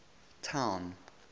town